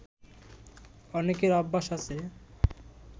অনেকের অভ্যাস আছে